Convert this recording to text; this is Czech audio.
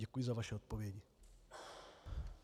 Děkuji za vaše odpovědi.